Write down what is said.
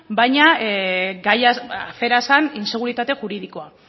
baina gaiaz afera zen inseguritate juridikoa